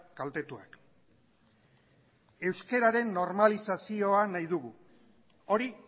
kaltetuak euskararen normalizazioa nahi dugu hori